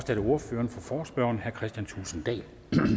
er det ordføreren for forespørgerne herre kristian thulesen dahl